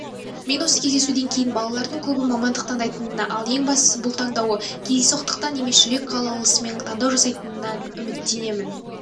мен осы кездесуден кейін балалардың көбі мамандық таңдайтынына ал ең бастысы бұл таңдауы кездейсоқтықтан емес жүрек қалаулысымен таңдау жасайтынына үміттенемін